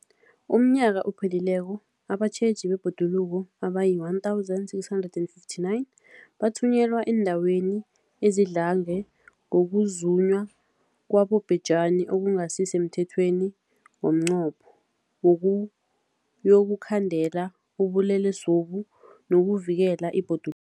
UmNnyaka ophelileko abatjheji bebhoduluko abayi-1 659 bathunyelwa eendaweni ezidlange ngokuzunywa kwabobhejani okungasi semthethweni ngomnqopho wokuyokukhandela ubulelesobu nokuvikela ibhodu